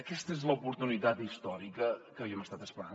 aquesta és l’oportunitat històrica que havíem estat esperant